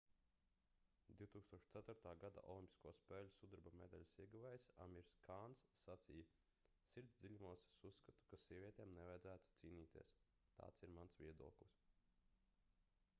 2004. gada olimpisko spēļu sudraba medaļas ieguvējs amirs kāns sacīja sirds dziļumos es uzskatu ka sievietēm nevajadzētu cīnīties tāds ir mans viedoklis